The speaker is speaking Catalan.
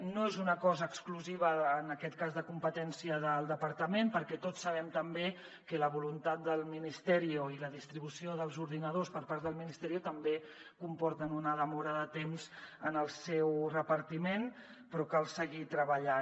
no és una cosa exclusiva en aquest cas de competència del departament perquè tots sabem que la voluntat del ministerio i la distribució dels ordinadors per part del també comporten una demora de temps en el seu repartiment però cal seguir treballant